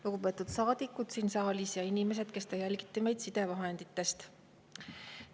Lugupeetud saadikud siin saalis ja inimesed, kes te jälgite meid sidevahendite abil!